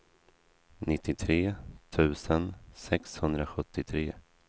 nittiotre tusen sexhundrasjuttiotre